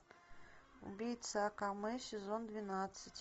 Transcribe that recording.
убийца акаме сезон двенадцать